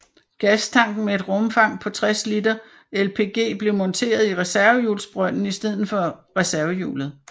Gastanken med et rumfang på 60 liter LPG blev monteret i reservehjulsbrønden i stedet for reservehjulet